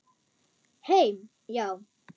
Heim, já.